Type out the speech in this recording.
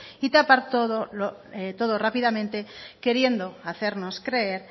y tapar todo rápidamente queriendo hacernos creer